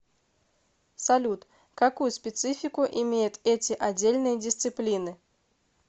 салют какую специфику имеют эти отдельные дисциплины